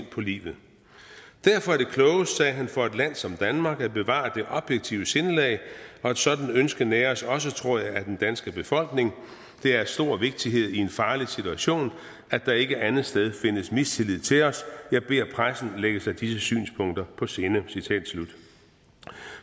på livet derfor er det klogest sagde han for et land som danmark at bevare det objektive sindelag og et sådan ønske næres også tror jeg af den danske befolkning det er af stor vigtighed i en farlig situation at der ikke andetsteds findes mistillid til os jeg beder pressen lægge sig disse synspunkter på sinde